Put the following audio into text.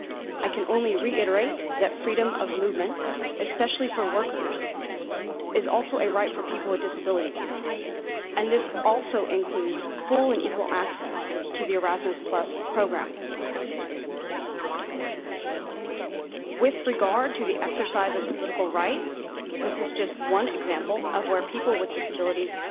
I can only reiterate that freedom of movement, especially for workers, is also a right for people with disabilities and this also includes full and equal access to the Erasmus programme. With regard to the exercise of political rights, this is just one example of where people with disabilities